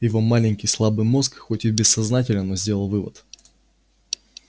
его маленький слабый мозг хоть и бессознательно но сделал вывод